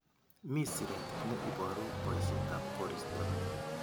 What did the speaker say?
Mi siret ne iboru boishetab koristo.